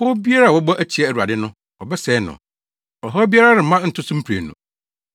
Nanso, ɔnam nsuyiri nwonwaso so bɛma Ninewe aba awiei. Ɔbɛtaa nʼatamfo akodu sum kabii mu.